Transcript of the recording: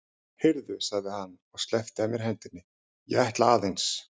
Heyrðu, sagði hann og sleppti af mér hendinni, ég ætla aðeins.